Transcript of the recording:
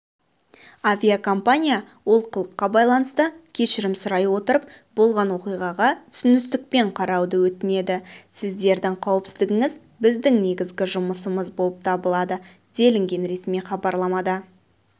авиакомпания олқылыққа байланысты кешірім сұрай отырып болған оқиғаға түсіністікпен қарауды өтінеді сіздердің қауіпсіздігіңіз біздің негізгі жұмысымыз болып табылады делінген ресми хабарламада